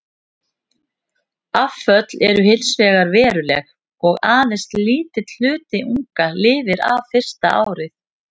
Afföll eru hins vegar veruleg og aðeins lítill hluti unga lifir af fyrsta árið.